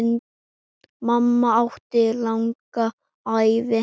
Mamma átti langa ævi.